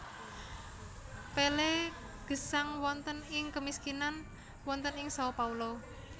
Pelé gesang wonten ing kemiskinan wonten ing Sao Paulo